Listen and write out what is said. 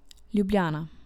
Ljubljana.